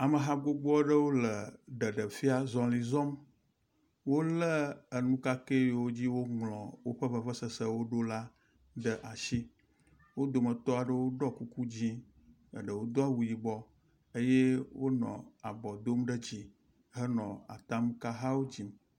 Ameha gbogboaɖewo le ɖeɖefia zɔlizɔm wóle eŋukakɛyiwo dzi woŋlɔ wóƒe vevesesewo ɖo la ɖe asi wó dometɔ aɖewo ɖɔ kuku dzĩ eɖewo dó awu yibɔ eye wonɔ abɔ dom ɖe dzi henɔ atamkahawo dzim